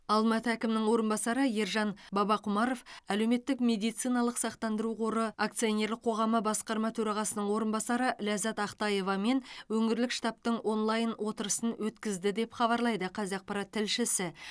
алматы әкімінің орынбасары ержан бабақұмаров әлеуметтік медициналық сақтандыру қоры акционерлік қоғамы басқарма төрағасының орынбасары ләззат ақтаевамен өңірлік штабтың онлайн отырысын өткізді деп хабарлайды қазақпарат тілшісі